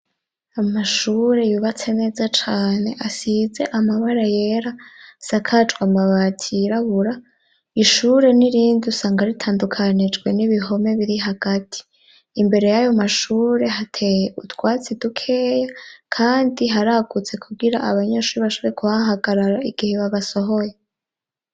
Amashure yubatse neza cane asize amabara yera, asakajwe amabati yirabura. Ishure n'irindi usanga ritandukanijwe n'ibihome biri hagati. Imbere y'ayo mashure hateye utwatsi dukeya kandi haragutse kugira abanyeshuri bashobore kuhahagarara igihe babasohoye.